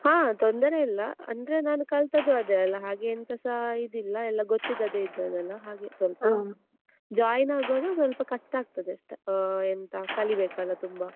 ಹಾ ತೊಂದರೆ ಇಲ್ಲ ಅಂದ್ರೆ ನಾನು ಕಲ್ತದ್ದೂ ಅದೆ ಅಲ್ವಾ ಹಾಗೆ ಎಂತ ಸ ಇದ್ ಇಲ್ಲಾ ಗೊತ್ತಿದ್ದದ್ದೇ ಇದ್ದಲ್ವಾ ಹಾಗೆ ಸ್ವಲ್ಪ join ಆಗುವಾಗ ಸ್ವಲ್ಪ ಕಷ್ಟ ಆಗ್ತದೆ ಆಹ್ ಕಲೀಬೇಕಲ್ಲ ತುಂಬ.